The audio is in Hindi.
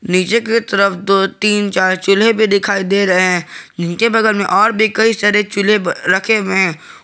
नीचे की तरफ दो तीन चार चूल्हे भी दिखाई दे रहे हैं जिनके बगल में और भी कई सारे चूल्हे रखे हुए हैं।